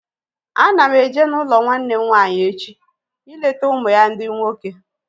Ana m eje n'ụlọ nwanne m nwaanyị echi ileta ụmụ ya ndị nwoke